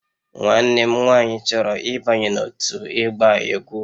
Nwanne m nwanyị chọrọ ịbanye n'òtù ịgba egwú